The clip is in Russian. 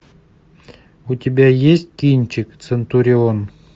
у тебя есть кинчик центурион